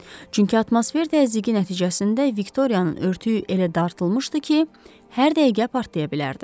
Çünki atmosfer təzyiqi nəticəsində Viktoriyanın örtüyü elə dartılmışdı ki, hər dəqiqə partlaya bilərdi.